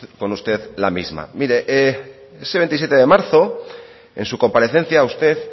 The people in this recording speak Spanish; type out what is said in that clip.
con usted la misma mire ese veintisiete de marzo en su comparecencia usted